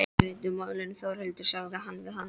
Við reddum málunum Þórhildur, sagði hann við hana.